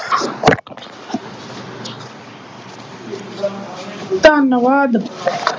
ਧੰਨਵਾਦ।